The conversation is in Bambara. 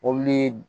Mobili